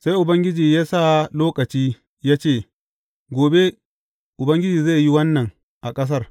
Sai Ubangiji ya sa lokaci ya ce, Gobe Ubangiji zai yi wannan a ƙasar.